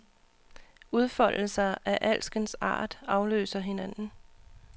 Udfoldelser af alskens art afløser hinanden.